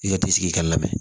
I ka i sigi i ka labɛn